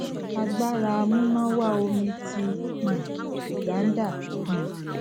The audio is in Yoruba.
agbara amunawa omi ti um uganda um